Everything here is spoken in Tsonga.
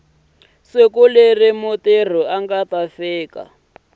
siku leri mutirhi a nga